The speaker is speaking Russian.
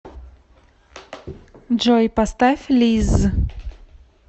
джой поставь лизз